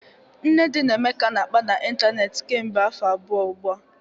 Nnedi na Emeka na-akpa n'ịntanetị kemgbe afọ abụọ ugbu a